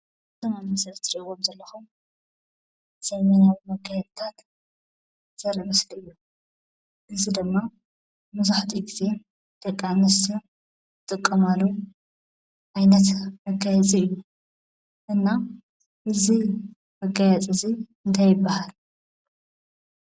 እቶም ኣብ ምስሊ ትሪእዎም ዘለኹም ዘመናዊ መጋየፅታት ዘርኢ ምስሊ እዩ። እዚ ድማ መብዛሕቲኡ ግዜ ደቂ ኣንስትዮ ዝጥቀማሉ ዓይነት መጋየፂ እዩ። እና እዚ መጋየፂ እዚ እንታይ ይበሃል?